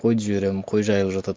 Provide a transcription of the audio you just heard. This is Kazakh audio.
қойды жіберемін қой жайылып жатады